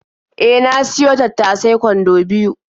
E, na siyo tattasai kwando biyo.